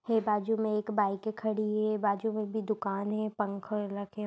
--है बाजु में एक बाइके खड़ी है बाजु में भी दुकान है पंखा